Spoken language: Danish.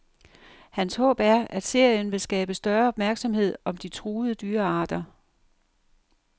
Hans håb er, at serien vil skabe større opmærksomhed om de truede dyrearter.